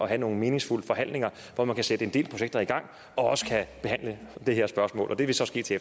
have nogle meningsfulde forhandlinger hvor man kan sætte en del projekter i gang og også kan behandle det her spørgsmål og det vil så ske til